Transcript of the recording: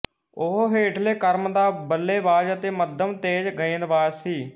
ਉਹ ਹੇਠਲੇ ਕ੍ਰਮ ਦਾ ਬੱਲੇਬਾਜ਼ ਅਤੇ ਮੱਧਮ ਤੇਜ਼ ਗੇਂਦਬਾਜ਼ ਸੀ